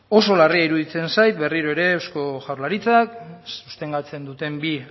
oso larria iruditzen zait berriro ere eusko jaurlaritzak sostengatzen duten bi